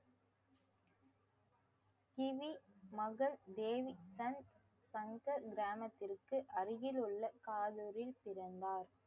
kiwi மகள் தேவி சங்~ சங்கர் கிராமத்திற்கு அருகில் உள்ள பிறந்தார்